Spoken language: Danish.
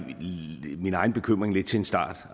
lidt min egen bekymring til en start